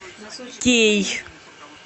кей